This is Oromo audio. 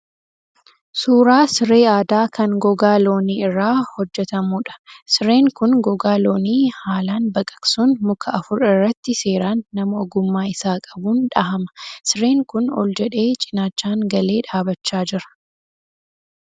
Suuraa siree aadaa kan gogaa looniii irraa hojjetamuudha. Sireen kun gogaa loonii haalan baqaqsuun muka afur irratti seeraan nama ogummaa isaa qabuun dhahama. Sireen kun ol jedhee cinaachaan galee dhaabbachaa jira.